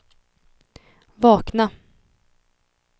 vakna